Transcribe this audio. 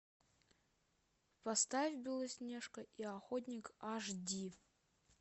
поставь белоснежка и охотник аш ди